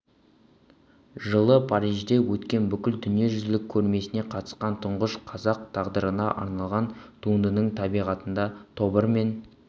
жылы парижде өткен бүкіл дүние жүзілік көрмесіне қатысқан тұңғыш қазақ тағдырына арналған туындының табиғатында тобыр мен